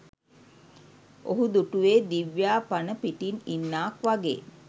ඔහු දුටුවේ දිව්‍යා පණ පිටින් ඉන්නාක් වගේ